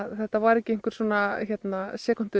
þetta var ekki einhver